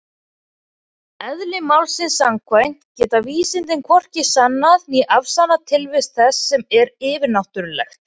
Eðli málsins samkvæmt geta vísindin hvorki sannað né afsannað tilvist þess sem er yfirnáttúrulegt.